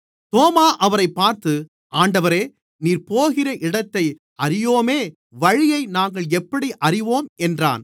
தோமா அவரைப் பார்த்து ஆண்டவரே நீர் போகிற இடத்தை அறியோமே வழியை நாங்கள் எப்படி அறிவோம் என்றான்